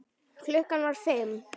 Klukkan var fimm.